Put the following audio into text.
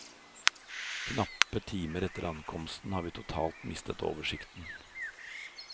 Knappe timer etter ankomst har vi totalt mistet oversikten.